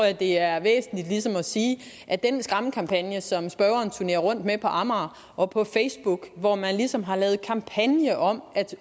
at det er væsentligt ligesom at sige at den skræmmekampagne som spørgeren turnerer rundt med på amager og på facebook hvor man ligesom har lavet kampagne om at